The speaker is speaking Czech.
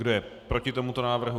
Kdo je proti tomuto návrhu?